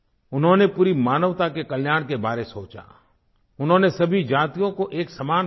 उन्होंने पूरी मानवता के कल्याण के बारे में सोचा उन्होंने सभी जातियों को एक समान बताया